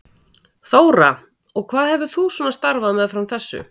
Þóra: Og hvað hefur þú svona starfað meðfram þessu?